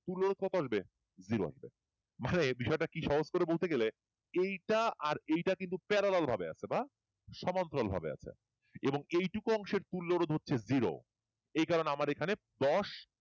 মানে বিষয়টা কি সহজ করে বলতে গেলে এইটা আর এইটা কিন্তু parallel ভাবে আছে বা সমান্তরাল ভাবে আছে এবং এইটুকু অংশের তুল্য রোধ হচ্ছে জিরো এই কারণে আমার এখানে দশ